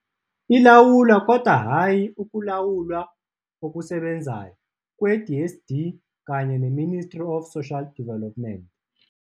Ilawulwa, kodwa hhayi ukulawulwa okusebenzayo, kwe-DSD kanye ne-Ministry of Social Development.